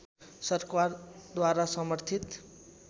सरकारद्वारा समर्थित